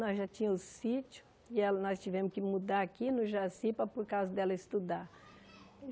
Nós já tínhamos um sítio e ela nós tivemos que mudar aqui no Jacipa por causa dela estudar.